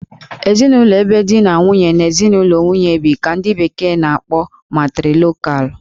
Ezinụlọ ebe di na nwunye na ezinụlọ nwunye bi ka ndị bekee na- akpọ 'Matrilocal'